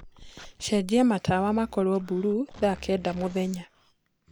cenjĩa matawa makorwo bulũũ thaa kenda mũthenya